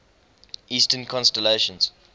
eastern constellations